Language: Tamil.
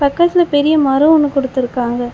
பக்கத்துல பெரிய மரோ ஒன்னு குடுத்துருக்காங்க.